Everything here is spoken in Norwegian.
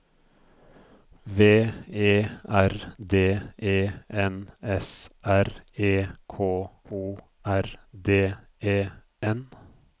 V E R D E N S R E K O R D E N